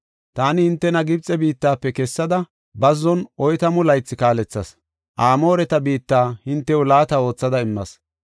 Taani hintena Gibxe biittafe kessada, bazzon oytamu laythi kaalethas; Amooreta biitta hintew laata oothada immas.